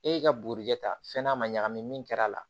E y'i ka bugurijɛ ta fɛn n'a ma ɲagami min kɛr'a la